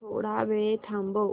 थोडा वेळ थांबव